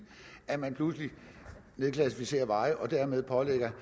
at man pludselig nedklassificerer veje og dermed pålægger